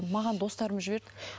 маған достарым жіберді